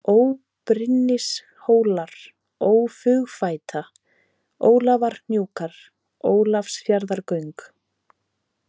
Óbrynnishólar, Ófugfæta, Ólafarhnjúkar, Ólafsfjarðargöng